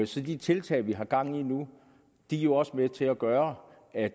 så de tiltag vi har gang i nu er jo også med til at gøre at